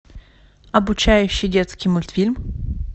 обучающий детский мультфильм